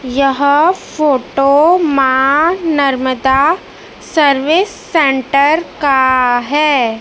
यह photo Maa Narmada service centre का है।